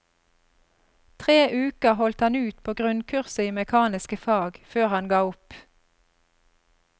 Tre uker holdt han ut på grunnkurset i mekaniske fag før han ga opp.